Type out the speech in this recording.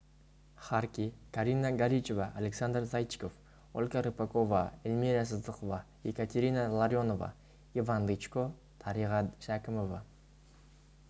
харки карина горичева александр зайчиков ольга рыпакова эльмира сыздықова екатерина ларионова иван дычко дариға шәкімова